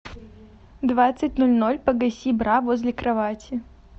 в двадцать ноль ноль погаси бра возле кровати